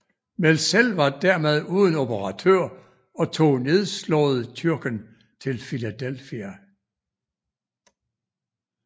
Mälzel var dermed uden operatør og tog nedslået Tyrken til Philadelphia